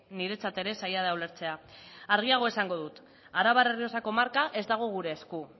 niretzat ere zaila da ulertzea argiago esango dut arabar errioxako marka ez dago gure esku